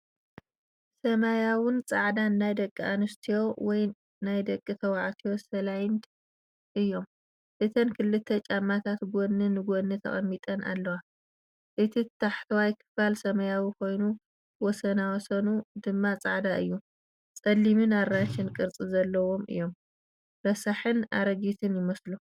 ሰማያውን ጻዕዳን ናይ ደቂ ኣንስትዮ ወይ ናይ ደቂ ተባዕትዮ ስላይድ እዮም። እተን ክልተ ጫማታት ጎኒ ንጎኒ ተቐሚጠን ኣለዋ። እቲ ታሕተዋይ ክፋል ሰማያዊ ኮይኑ ወሰናስኑ ድማ ጻዕዳ እዩ። ጸሊምን ኣራንሺን ቅርጺ ዘለዎም እዮም። ረሳሕን ኣረጊትን ይመስሉ።